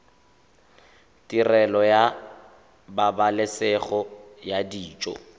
tirelo ya pabalesego ya dijo